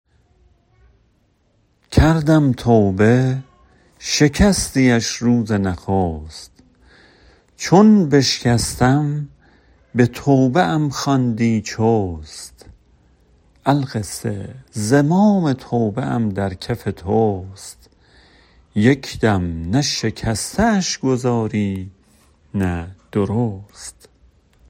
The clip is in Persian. کردم توبه شکستی اش روز نخست چون بشکستم به توبه ام خواندی چست القصه زمام توبه ام در کف توست یک دم نه شکسته اش گذاری نه درست